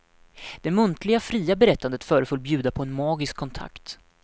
Det muntliga fria berättandet föreföll bjuda på en magisk kontakt.